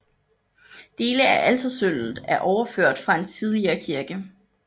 Dele af altersølvet er overført fra en tidligere kirke